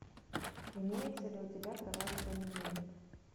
имеется ли у тебя кровавый понедельник